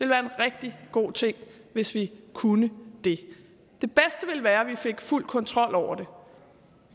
være en rigtig god ting hvis vi kunne det det bedste ville være at vi fik fuld kontrol over